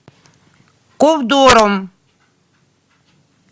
ковдором